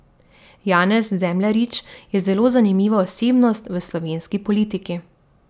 Janez Zemljarič je zelo zanimiva osebnost v slovenski politiki.